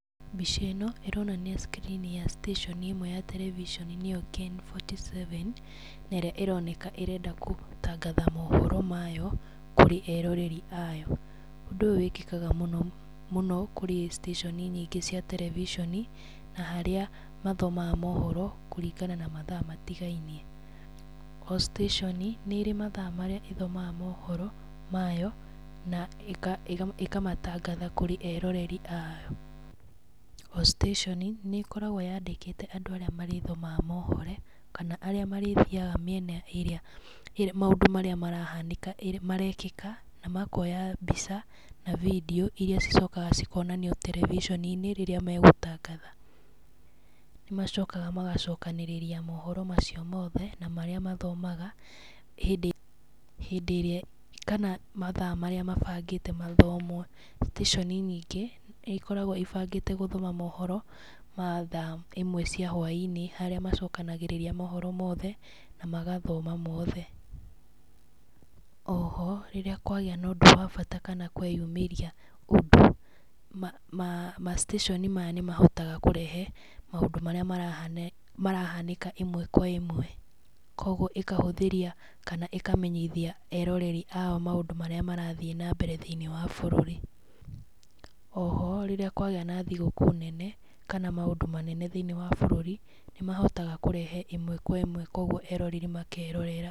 Mbica ĩno ĩronania cikirini ya citĩconi ĩmwe ya terebiconi nĩyo KN47 ,na ĩrĩa ĩroneka ĩrenda gũtangatha mohoro mayo kũrĩ eroreri ayo. Ũndũ ũyũ wĩkĩkaga mũno mũno kũrĩ citĩconi nyingĩ cia terebiconi, na harĩa mathomaga mohoro kũringana na mathaa matigainie. O citĩconi nĩ ĩrĩ mathaa marĩa ĩthomaga mohoro mayo, na ĩkamatangatha kũrĩ eroreri ayo, o citĩconi nĩ ĩkoragwo yandĩkĩte andũ arĩa marĩthomaga mohoro, kana arĩa marĩthiaga mĩena ĩrĩa ĩrĩa maũndũ marĩa marahanĩka ĩrĩ marekĩka na makoya mbica na bindiũ, iria cicokaga cikonanio terebiconi-inĩ rĩrĩa megũtangatha. Nĩ macokaga magacokanĩrĩria mohoro macio mothe, na marĩa mathomaga hĩndĩ hĩndĩ ĩrĩa kana mathaa marĩa mabangĩte mathomwo. Citĩconi nyingĩ nĩ ikoragwo ibangĩte gũthoma mohoro ma thaa ĩmwe cia hwainĩ, harĩa macokanagĩrĩria mohoro mothe, na magathoma mothe. Oho rĩrĩa kwagĩa ũndũ wa bata kana kweyumĩria ũndũ ma macitĩconi maya nĩ mahotaga kũrehe maũndũ marĩa marahanĩka marahanĩka ĩmwe kwa ĩmwe, koguo ĩkahũthĩria kana ĩkamenyithia eroreri ao maũndũ marĩa marathiĩ nambere thĩinĩ wa bũrũri. Oho rĩrĩa kwagĩa na thigũkũ nene kana maũndũ manene thĩinĩ wa bũrũri, nĩ mahotaga kũrehe ĩmwe kwa ĩmwe koguo eroreri makerorera.